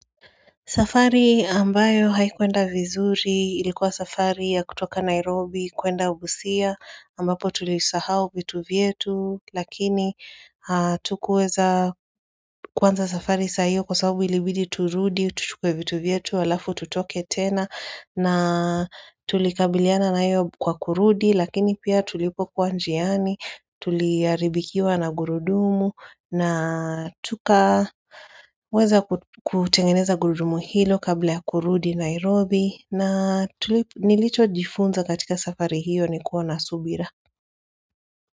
Safari ambayo haikuenda vizuri ilikuwa safari ya kutoka Nairobi kwenda Busia ambapo tulisahau vitu vyetu lakini hatukuweza kwanza safari saa hiyo kwa sababu ilibidi turudi tuchukue vitu vyetu alafu tutoke tena na tulikabiliana nayo kwa kurudi lakini pia tulipokuwa njiani tuliharibikiwa na gurudumu na tukaweza kutengeneza gurudumu hilo kabla ya kurudi Nairobi na nilichojifunza katika safari hiyo ni kuwa na subira.